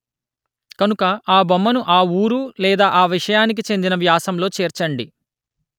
కనుక ఆ బొమ్మను ఆ వూరు లేదా ఆ విషయానికి చెందిన వ్యాసంలో చేర్చండి